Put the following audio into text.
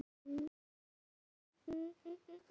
Albert, er opið í Pétursbúð?